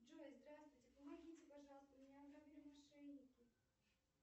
джой здравствуйте помогите пожалуйста меня ограбили мошенники